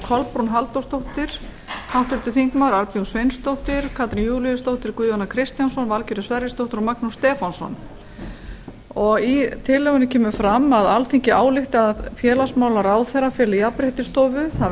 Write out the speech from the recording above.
kolbrún halldórsdóttir háttvirtir þingmenn arnbjörg sveinsdóttir katrín júlíusdóttir guðjón a kristjánsson og magnús stefánsson í tillögunni kemur fram að alþingi álykti að félagsmálaráðherra feli jafnréttisstofu það